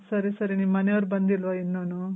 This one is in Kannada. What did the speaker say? ಸರಿ ಸರಿ ನಿಮ್ ಮನೇರ್ ಬಂದಿಲ್ವ ಇನ್ನುನು?